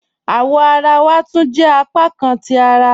Awọ̀ àrà wà túń jẹ́ apákàn ti àrà